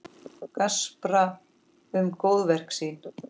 Gaspra um góðverk sín.